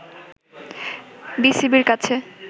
বিসিবি-র কাছে